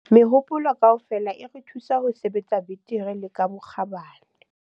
Mehopolo kaofela e re thusa ho sebetsa betere le ka bokgabane.